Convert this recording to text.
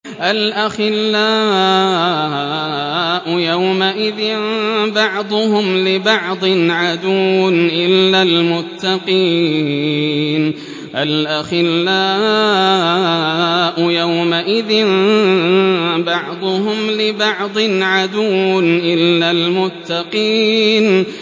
الْأَخِلَّاءُ يَوْمَئِذٍ بَعْضُهُمْ لِبَعْضٍ عَدُوٌّ إِلَّا الْمُتَّقِينَ